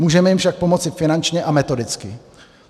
Můžeme jim však pomoci finančně a metodicky.